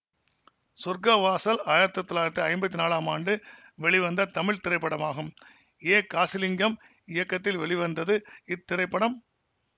சொர்க்க வாசல் ஆயிரத்தி தொள்ளாயிரத்தி ஐம்பத்தி நாலாம் ஆண்டு வெளிவந்த தமிழ் திரைப்படமாகும் ஏ காசிலிங்கம் இயக்கத்தில் வெளிவந்தது இத்திரைப்படம்